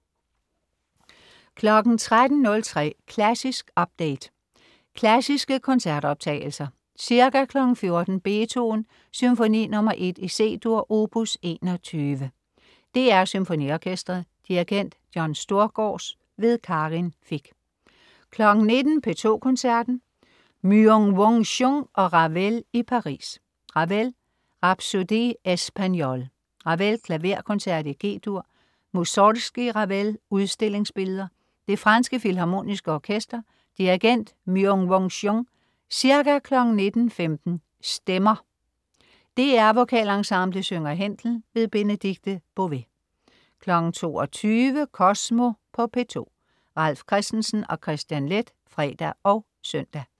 13.03 Klassisk update. Klassiske koncertoptagelser. Ca. 14.00 Beethoven: Symfoni nr. 1, C-dur, opus 21. DR SymfoniOrkestret. Dirigent: John Storgårds. Karin Fich 19.00 P2 Koncerten. Myung-Whun Chung og Ravel i Paris. Ravel: Rapsodie espagnole. Ravel: Klaverkoncert, G-dur. Musorgskij/Ravel: Udstillingsbilleder. Det franske Filharmoniske Orkester. Dirigent: Myung-Whun Chung. Ca. 19.15 Stemmer. DR VokalEnsemblet synger Händel. Benedikte Bové 22.00 Kosmo på P2. Ralf Christensen og Kristian Leth (fre og søn)